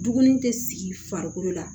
Duguni tɛ sigi farikolo la